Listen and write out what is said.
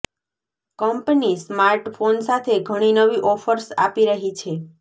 company smartphone સાથે ઘણી નવી ઓફર્સ આપી રહી છે